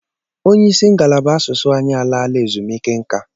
Onye ịsị ngalaba asụsụ anyị alaala ezumiike nka.